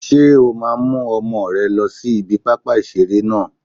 Ṣé o máa mú ọmọ rẹ lọ sí ibi pápá ìseré náà?